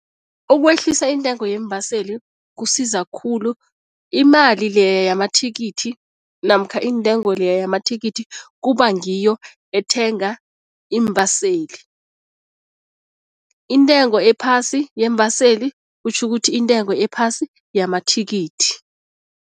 Ukwehlisa iintengo yeembaseli kusiza khulu, imali leya yamathikithi namkha iintengo leyo yamathikithi kuba ngiyo ethenga iimbaseli. Intengo ephasi yeembaseli kutjhukuthi intengo ephasi yamathikithi.